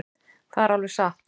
Það er alveg satt.